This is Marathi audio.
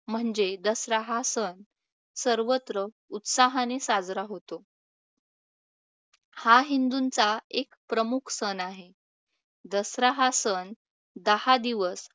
म्हणजे दसरा हा सण सर्वत्र उत्साहाने साजरा होतो. हा हिंदूंचा एक प्रमुख सण आहे. दसरा हा सण दहा दिवस